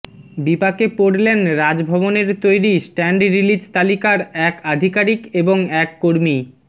বিপাকে পড়লেন রাজভবনের তৈরি স্ট্যান্ড রিলিজ তালিকার এক আধিকারিক এবং এক কর্মী